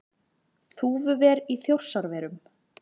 Þúfuver í Þjórsárverum.